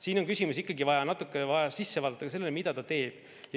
Siin on ikkagi vaja natukene sisse vaadata ka sellesse, mida ta teeb.